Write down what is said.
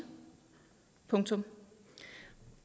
punktum